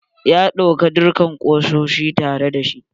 Ya ɗauka dukka kusoshi tare da shi.